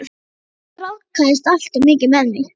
Hann ráðskaðist alltof mikið með mig.